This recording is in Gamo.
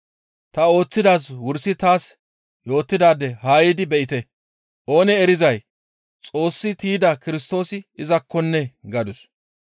«Ta ooththidaaz wursi taas yootidaade haa yiidi be7ite; oonee erizay Xoossi tiyda Kirstoosi izakkonnee!» gadus.